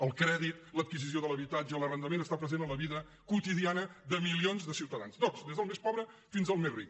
el crèdit l’adquisició de l’habitatge l’arrendament està present en la vida quotidiana de milions de ciutadans tots des del més pobre fins al més ric